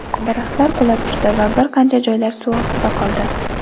Daraxtlar qulab tushdi va bir qancha joylar suv ostida qoldi.